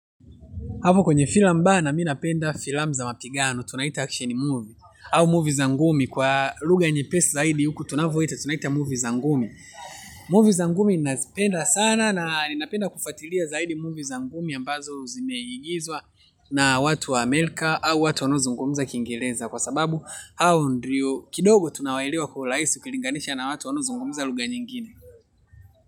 Hapo kwenye filamu bana mi napenda filamu za mapigano tunaita action movie au movie za ngumi kwa lugha nyepesi zaidi huku tunavoita tunaita movie za ngumi. Movie za ngumi ninazipenda sana na ninapenda kufuatilia zaidi movie za ngumi ambazo zimeigizwa na watu wa Amerika au watu wanaozungumza kiingereza kwa sababu au ndio kidogo tunawaelewa kwa urahisi ukilinganisha na watu wanaozungumuza lugha nyingine.